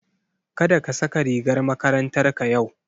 Kada ka saka rigar makarantarka yau.